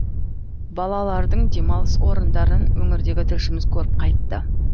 балалардың демалыс орындарын өңірдегі тілшіміз көріп қайтты